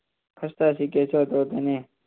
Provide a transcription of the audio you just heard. લખસ્તા શીખે તેને